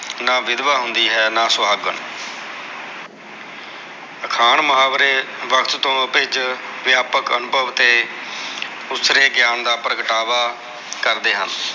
ਨਾ ਵਿਧਵਾ ਹੁੰਦੀ ਹੈ ਨਾ ਸੁਹਾਗਣ ਅਖਾਣ ਮੁਹਾਵਰੇ ਵਕਤ ਤੋ ਆਭਿਜ ਵਿਆਪਕ ਅਨੁਭਵ ਤੇ ਉਸਰੇ ਗਿਆਨ ਦਾ ਪ੍ਰਗਟਾਵਾ ਕਰਦੇ ਹਨ